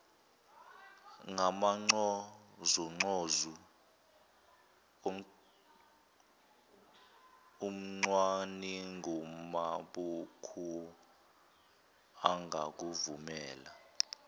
ngamancozuncozu umcwaningimabhuku angakuvumela